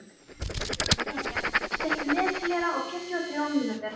Deníel, stilltu niðurteljara á fjörutíu og þrjár mínútur.